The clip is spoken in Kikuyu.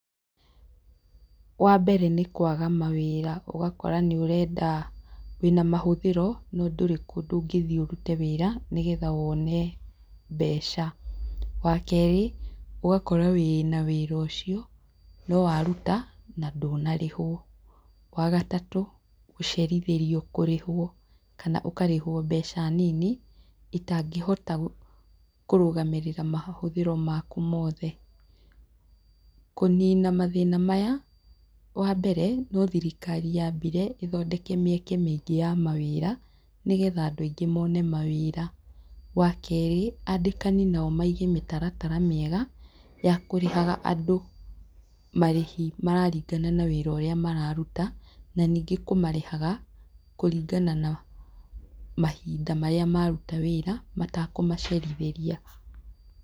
Wa mbere nĩ kwaga mawĩra ogakora nĩ ũrenda wĩna mahũthĩro no ndũrĩ kũndũ ũngĩthiĩ ũrute wĩra nĩgetha wone mbeca. Wa kerĩ ogakora wĩna wĩra ũcio no waruta na ndũna rĩhwo. Wagatatũ gũcerithĩrio kũrĩhwo kana ũkarĩhwo mbeca nini itangĩhota kũrũgamĩrĩra mahũthĩro maku mothe.‎ Kũnina mathĩna maya wa mbere no thirikari yambire ĩthondeke mĩeke mĩingĩ ya mawĩra nĩgetha andũ aingĩ mone mawĩra. Wa kerĩ andĩkani nao maige mĩtaratara mĩega ya kũrĩhaga andũ marĩhi mararingana na wĩra ũrĩa mararuta na ningĩ kũmarĩhaga kũringana na mahinda marĩa maruta wĩra matekũmacerithĩria.